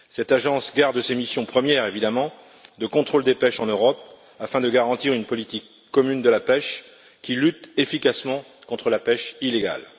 Cette Agence garde ses missions premières, évidemment, de contrôle des pêches en Europe afin de garantir une politique commune de la pêche qui lutte efficacement contre la pêche illégale.